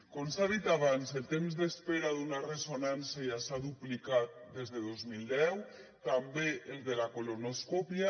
com s’ha dit abans el temps d’espera d’una ressonància s’ha duplicat des de dos mil deu també el de la colonoscòpia